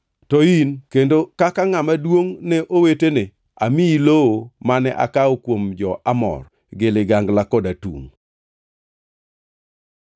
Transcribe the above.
To in, kendo kaka ngʼama duongʼne owetene, amiyi lowo mane akawo kuom jo-Amor gi ligangla kod atungʼ.”